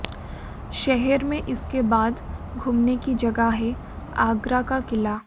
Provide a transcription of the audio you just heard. शहर में इसके बाद घूमने की जगह है आगरा का किला